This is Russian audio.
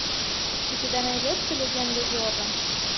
у тебя найдется легенда зорро